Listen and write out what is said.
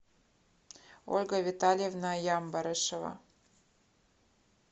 ольга витальевна ямбарышева